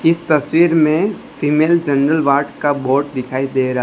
इस तस्वीर में फीमेल जनरल वार्ड का बोर्ड दिखाई दे रहा --